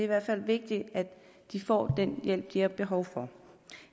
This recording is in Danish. hvert fald vigtigt at de får den hjælp de har behov for